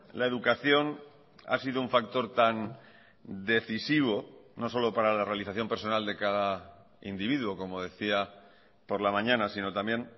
la educación ha sido un factor tan decisivo no solo para la realización personal de cada individuo como decía por la mañana sino también